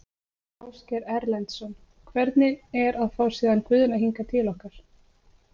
Ásgeir Erlendsson: Hvernig er að fá síðan Guðna hingað til ykkar?